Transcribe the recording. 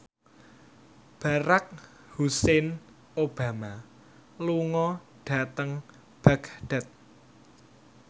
Barack Hussein Obama lunga dhateng Baghdad